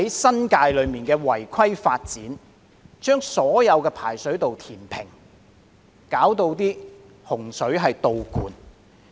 新界一些違規發展把所有排水道填平，導致洪水倒灌。